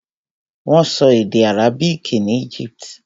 Wọ́n sọ èdè àrábìkì ní Egypt.